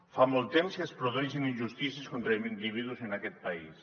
fa molt temps que es produeixen injustícies contra individus en aquest país